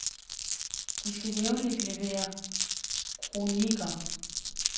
De skal jævnligt levere kronikker.